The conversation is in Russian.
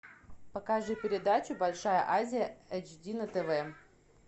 покажи передачу большая азия эйч ди на тв